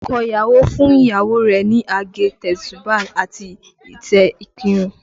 Ọkọ ìyàwó fún ìyàwó rẹ̀ ní àgé, tesuba àti ìtẹ́ ìkírun